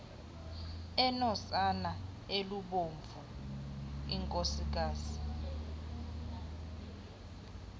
enosana olubomvu unkosikazi